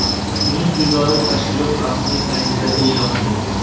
Uning so‘zlari tashkilot rasmiy saytida e’lon qilingan .